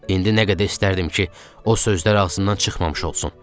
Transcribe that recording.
İndi nə qədər istərdim ki, o sözlər ağzımdan çıxmamış olsun.